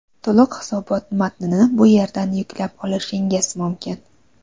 To‘liq hisobot matnini bu yerdan yuklab olishingiz mumkin .